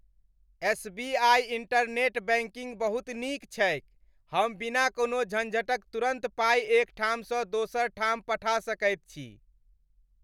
S. B. I. Internet banking बहुत नीक छैक। हम बिना कोनो झंझटक तुरन्त पाइ एक ठामसँ दोसर ठाम पठा सकैत छी।